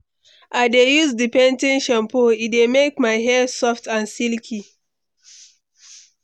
i dey use di pan ten e shampoo, e dey make my hair soft and silky.